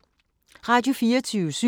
Radio24syv